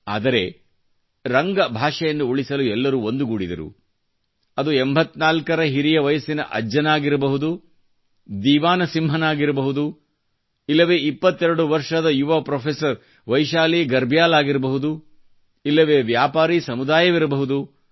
ಆದರೆ ರಂಗ ಭಾóಷೆಯನ್ನು ಉಳಿಸಲು ಎಲ್ಲರು ಒಂದುಗೂಡಿದರು ಅದು ಎಂಬತ್ನಾಲ್ಕರ ಹಿರಿಯ ವಯಸ್ಸಿನ ಅಜ್ಜನಾಗಿರಬಹುದು ದೀವಾನಸಿಂಹನಾಗಿರಬಹುದು ಇಲ್ಲವೆ ಇಪ್ಪತ್ತೆರಡು ವರ್ಷದ ಯುವ ಪ್ರೊಫೆಸರ್ ವೈಶಾಲಿ ಗರ್ಬ್ಯಾಲ್ ಆಗಿರಬಹುದು ಇಲ್ಲವೆ ವ್ಯಾಪಾರಿ ಸಮುದಾಯವಿರಬಹುದು